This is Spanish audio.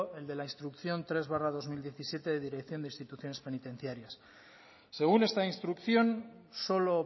el de la instrucción tres barra dos mil diecisiete de dirección de instituciones penitenciarias según esta instrucción solo